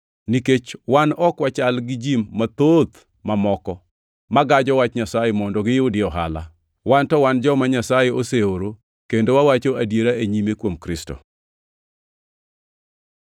Nikech wan ok wachal gi ji mathoth mamoko, magajo wach Nyasaye mondo giyudie ohala. Wan to wan joma Nyasaye oseoro kendo wawacho adiera e nyime kuom Kristo.